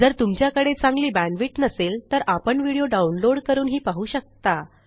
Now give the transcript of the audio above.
जर तुमच्याकडे चांगली बॅण्डविड्थ नसेल तर आपण व्हिडिओ डाउनलोड करूनही पाहू शकता